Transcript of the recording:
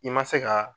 I ma se ka